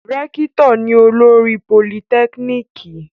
Rẹ́kítọ̀ ni olórí politẹ́kíníkì